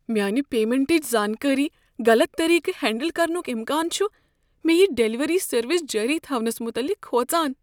میانہ پیمنٹٕچ زانکاری غلط طریقہٕ ہینڈل کرنک امکان چھ مےٚ یہ ڈلیوری سروس جٲری تھونس متعلق کھوژان۔